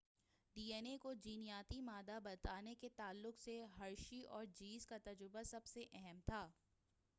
D N A کو جینیاتی مادہ بتانے کے تعلق سے ہرشی اور چیس کا تجربہ سب سے اہم تھا